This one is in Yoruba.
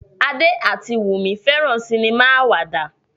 Ade ati Wumi feran sinima awada.